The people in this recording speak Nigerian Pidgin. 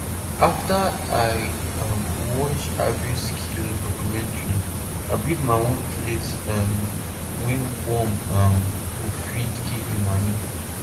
after i um watch the agriskill documentary i build my own place um wey worm um go fit give me manure